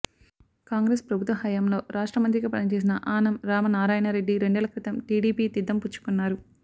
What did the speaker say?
కాంగ్రెస్ ప్రభుత్వ హయాంలో రాష్ట్ర మంత్రిగా పనిచేసిన ఆనం రామనారాయణరెడ్డి రెండేళ్ల క్రితం టీడీపీ తీర్థం పుచ్చుకున్నారు